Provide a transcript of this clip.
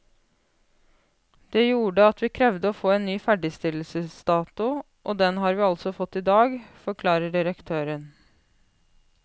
Det gjorde at vi krevde å få en ny ferdigstillelsesdato, og den har vi altså fått i dag, forklarer direktøren.